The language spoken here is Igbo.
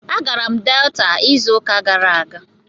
Agara m Delta izu uka gara aga